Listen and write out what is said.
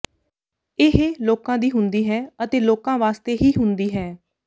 ਇਹ ਲੋਕਾਂ ਦੀ ਹੁੰਦੀ ਹੈ ਅਤੇ ਲੋਕਾਂ ਵਾਸਤੇ ਹੀ ਹੁੰਦੀ ਹੈ